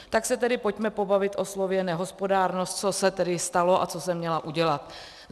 Tak se tedy pojďme pobavit o slově nehospodárnost, co se tedy stalo a co jsem měla udělat.